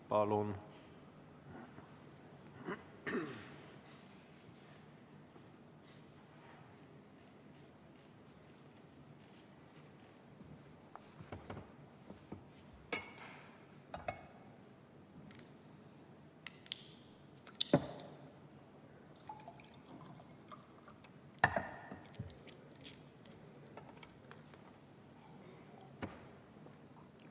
Palun!